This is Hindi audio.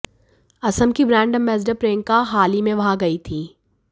असम की ब्रांड एंबेस्डर प्रियंका हाल ही में वहां गईं थीं